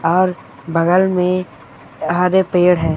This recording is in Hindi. और बगल में हरे पेड़ है।